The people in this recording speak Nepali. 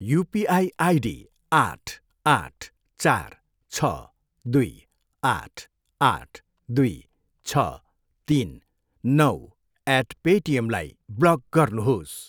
युपिआई आइडी आठ, आठ, चार, छ, दुई, आठ, आठ, दुई, छ, तिन, नौ एट पेटिएमलाई ब्लक गर्नुहोस्।